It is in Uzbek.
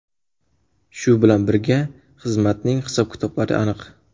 Shu bilan birga, xizmatning hisob-kitoblari aniq.